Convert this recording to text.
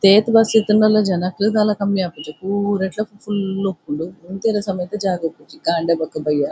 ಏತ್ ಬಸ್ ಇತ್ತ್ಂಡಲ ಜನಕುಲ್ ದಾಲ ಕಮ್ಮಿ ಆಪುಜೆರ್ ಪೂರೆಟ್ಲ ಫುಲ್ ಇಪ್ಪುಂಡು ಉಂತೆರೆ ಸಮೆತ ಜಾಗ್ ಇಪ್ಪುಜಿ ಕಾಂಡೆ ಬೊಕ ಬಯ್ಯ.